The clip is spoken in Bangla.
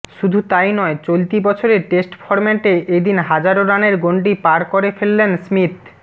শুধু তাই নয় চলতি বছরে টেস্ট ফর্ম্যাটে এদিন হাজার রানের গন্ডি পার করে ফেললেন স্মিথ